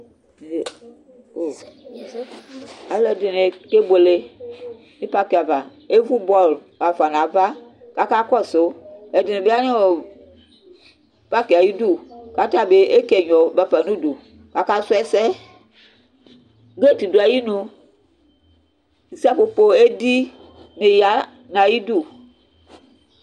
aloɛdini kebuele no pak ava evu bɔl afa n'ava k'aka kɔsu ɛdini bi aya no pak ayidu k'atabi eke ɛnyɔ bafa n'udu k'aka su ɛsɛ boat do ayinu ko seƒoƒo edi di ya n'ayidu